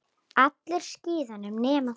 Allir á skíðum nema þú.